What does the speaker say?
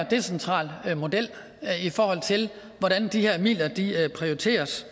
decentral model i forhold til hvordan de her midler prioriteres